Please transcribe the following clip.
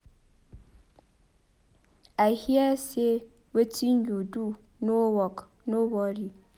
I hear say wetin you do no work no worry